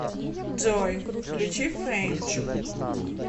джой включи фэйнт